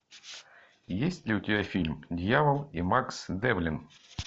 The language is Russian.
есть ли у тебя фильм дьявол и макс девлин